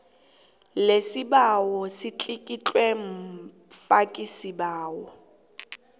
lesibawo litlikitlwe mfakisibawo